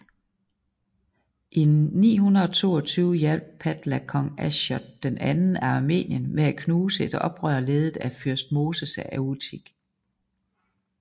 I 922 hjalp Padla kong Ashot II af Armenien med at knuse et oprør ledet af fyrst Moses af Utik